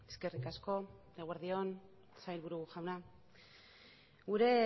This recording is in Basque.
eskerrik asko eguerdi on sailburu jauna gure